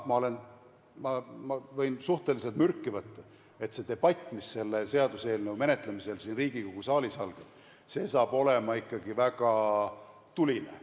Ma võin suhteliselt kindlalt öelda ja n-ö mürki võtta, et see debatt, mis selle seaduseelnõu menetlemisel siin Riigikogu saalis algab, tuleb ikkagi väga tuline.